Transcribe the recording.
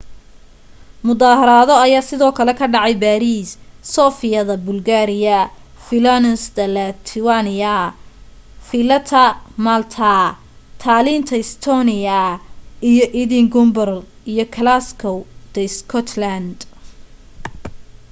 mudaharaado aya sidoo kale ka dhacay baariis sofia da bulgaria vilnius da lithuania valetta ta malta tallinn ta estonia iyo edinburgh iyo glasgow ta scotland